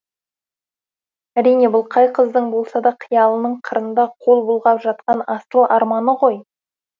әрине бұл қай қыздың болса да қиялының қырында қол бұлғап жатқан асыл арманы ғой